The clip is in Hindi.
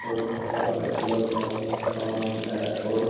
बहुत सारे इलेक्ट्रोनिक मे समान है और--